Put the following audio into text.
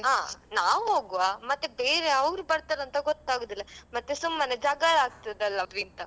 ಆ ನಾವ್ ಹೋಗ್ವಾ, ಮತ್ತೆ ಬೇರೆ ಅವ್ರು ಬರ್ತಾರಂತ ಗೊತ್ತಾಗುದಿಲ್ಲ ಮತ್ತೆ ಸುಮ್ಮನೆ ಜಗಳ ಆಗ್ತದಲ್ಲ ಅವ್ರಿಂದ.